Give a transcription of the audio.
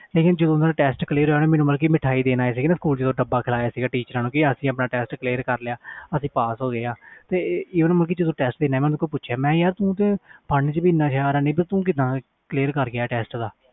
ਲੇਕਿਨ ਜਦੋ ਓਹਨਾ ਦਾ ਟੈਸਟ ਹੋਇਆ ਸੀ ਉਹ ਮੈਨੂੰ ਮਿਠਾਈ ਦੇਣ ਆਏ ਸੀ ਜਦੋ ਡੱਬਾ ਕਰਿਆ teachers ਨੂੰ ਕਿ ਅਸੀਂ ਟੈਸਟ ਕਰ ਲਿਆ ਮੈਂ ਪੁੱਛਿਆ ਯਾਰ ਤੂੰ ਤੇ ਪੜ੍ਹਨ ਵਿਚ ਵੀ ਇਹਨਾਂ ਹੁਸਿਆਰ ਨਹੀਂ ਤੇਰਾ ਟੈਸਟ ਕਿਵੇਂ clear ਹੋ ਗਿਆ